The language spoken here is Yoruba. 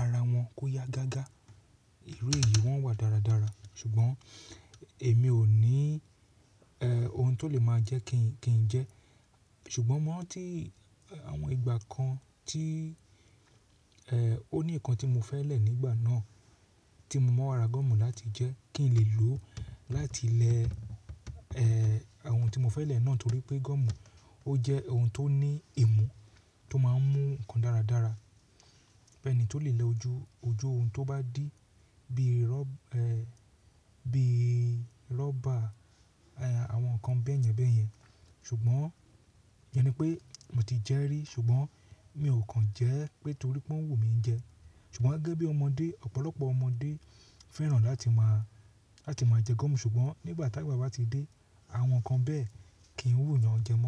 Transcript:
ara wọn kó yá gágá. Ìru eyìí wọ́n wà dáradára, ṣùgbọ́n èmi ò ní, ẹ́, ohun tó lè máa jẹ́ kí ń jẹ. Ṣùgbọ́n mọ́ tí àwọn ìgbà kan tí, ẹ́, ó ní nǹkan tí mo fẹ́ lẹ̀ nígbà náà tí mo máa n ra gọ́ọ̀mù láti jẹ́ kí ń lè lò ó láti lẹ, ẹ́, awon tí mo fẹ́ lẹ̀ náà torí pé gọ́ọ̀mù ó jẹ́ ohun tó ní èèmú tó máa ń mú nǹkan dáradára. Ẹni tó lè lẹ ojú ohun tó bá dí bíi rọ́, ẹ́, bíi rọ́bà, àwọn nǹkan bẹ̀ẹ́nyẹn bẹ̀ẹ́yẹn. Ṣùgbọ́n yẹn ni pé mo ti jẹ́ rí ṣùgbọ́n mi ò kan jẹ ẹ́ pé torí pé oun wù mí jẹ. Ṣùgbọ́n gẹ́gẹ́ bí ọmọdé, ọ̀pọ̀lọpọ̀ ọmọdé fẹ́ràn láti máa, láti máa jẹ gọ́ọ̀mù ṣùgbọ́n nígbà tá gba bá ti dé àwọn nǹkan bẹ́ẹ̀ kì í wù yàn jẹ mọ́